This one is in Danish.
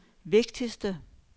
vigtigste